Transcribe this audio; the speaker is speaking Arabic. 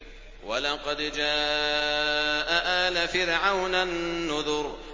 وَلَقَدْ جَاءَ آلَ فِرْعَوْنَ النُّذُرُ